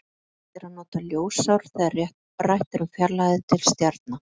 Algengast er að nota ljósár þegar rætt er um fjarlægðir til stjarna.